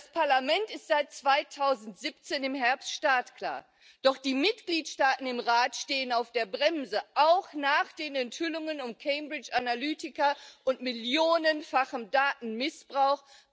Das Parlament ist seit Herbst 2017 startklar, doch die Mitgliedstaaten im Rat stehen auf der Bremse, auch nach den Enthüllungen um Cambridge Analytica und millionenfachen Datenmissbrauch.